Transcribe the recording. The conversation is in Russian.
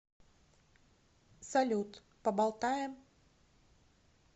салют поболтаем